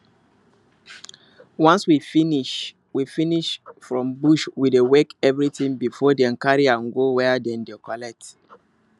once we finish we finish from bush we dey weigh everything before dem carry am go where dem dey collect